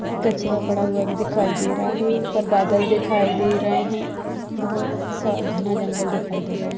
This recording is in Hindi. कचरा पड़ा हुआ भी दिखाई दे रहा है ऊपर बादल दिखाई दे रहे हैं। बहुत सा घना जंगल दिखाई दे रहा है।